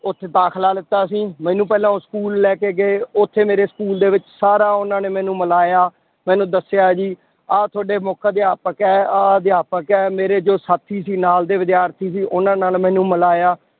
ਉੱਥੇ ਦਾਖਲਾ ਲਿੱਤਾ ਸੀ, ਮੈਨੂੰ ਪਹਿਲਾਂ ਉਹ school ਲੈ ਕੇ ਗਏ ਉੱਥੇ ਮੇਰੇ school ਦੇ ਵਿੱਚ ਸਾਰਾ ਉਹਨਾਂ ਨੇ ਮੈਨੂੰ ਮਿਲਾਇਆ, ਮੈਨੂੰ ਦੱਸਿਆ ਜੀ ਆਹ ਤੁਹਾਡੇ ਮੁੱਖ ਅਧਿਆਪਕ ਹੈ, ਆਹ ਅਧਿਆਪਕ ਹੈ, ਮੇਰੇ ਜੋ ਸਾਥੀ ਸੀ ਨਾਲ ਦੇ ਵਿਦਿਆਰਥੀ ਸੀ ਉਹਨਾਂ ਨਾਲ ਮੈਨੂੰ ਮਿਲਾਇਆ